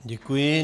Děkuji.